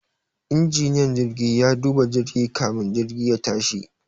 Injiniyan jirgi ya duba jirgi kamin jirgin ya tashi